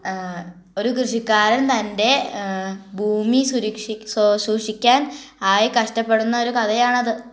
എഹ്... ഒരു കൃഷിക്കാരൻ തൻ്റെ എഹ് ഭൂമി സുരക്ഷിക്കി സോ സൂക്ഷിക്കാൻ ആയി കഷ്ടപ്പെടുന്ന ഒരു കഥയാണത്